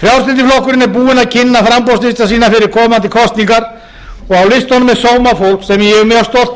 frjálslyndi flokkurinn er búinn að kynna framboðslista sína fyrir komandi kosningar og á listunum er sómafólk sem ég er mjög stoltur